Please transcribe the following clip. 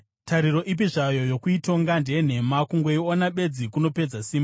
Tariro ipi zvayo yokuitonga ndeyenhema; kungoiona bedzi kunopedza simba.